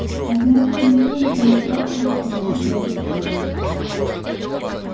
а значит ни что не помешает ей съязвить на этот счёт